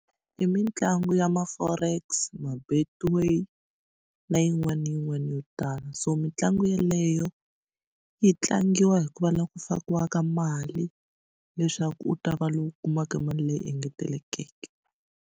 I mitlangu ya ma-Forex ma-Betway na yin'wana na yin'wana yo tala so mitlangu yeleyo yi tlangiwa hi ku va la ku fakiwaka mali leswaku u ta va lowu kumaka mali leyi engetelekeke.